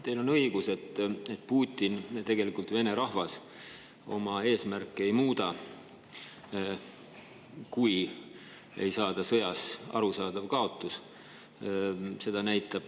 Teil on õigus, et Putin ja tegelikult Vene rahvas oma eesmärki ei muuda, kui ei saada sõjas kaotust.